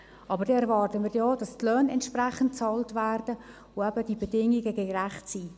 Aber dann erwarten wir auch, dass entsprechende Löhne bezahlt werden und eben die Bedingungen gerecht sind.